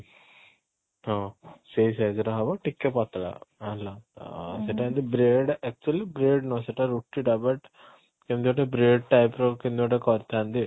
ହଁ ସେଇ size ର ହବ ଟିକେ ପତଳା ହବ hello ଅଂ ଉଁ ସେଟା ହଉଛି bread actually bread ନୁହଁ ସେଟା ରୁଟି ଟା but କେମିତି ଗୋଟେ bread type ର କେମିତି ଗୋଟେ କରିଥାନ୍ତି